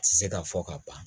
Ti se ka fɔ ka ban